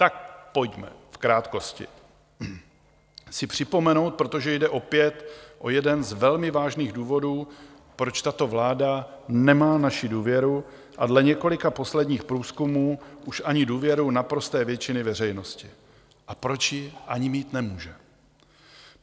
Tak pojďme v krátkosti si připomenout, protože jde opět o jeden z velmi vážných důvodů, proč tato vláda nemá naši důvěru a dle několika posledních průzkumů už ani důvěru naprosté většiny veřejnosti, a proč ji ani mít nemůže.